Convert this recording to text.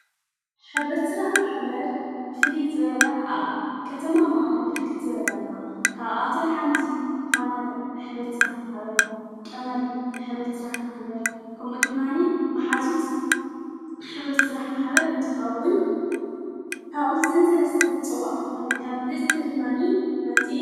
ኅብረት ሥራሕ መኃበር ፊልዜላ ኣብ ኸተማ መቓለ ብርክት ዘበላ ኣለዋ ።ካብ ኣተን ሓንቲ ፋነር ኅብረ ስራሕ ፡ምኃበር ቀመር ኅብረ ስራሕ መሕበር ከምኡ ድማኒ መኃዙት ኅብረትራሕ ማኃበር እንትኸውን ካብዘን ሠለስተ ዘጸውዐኹን እታ ብልጽቲ ድማኒ ሓንቲ ኢያ።